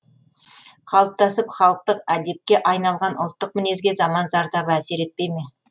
қалыптасып халықтық әдепке айналған ұлттық мінезге заман зардабы әсер етпей ме